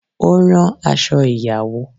O ran aṣọ ìyàwó